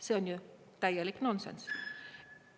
See on täielik nonsenss!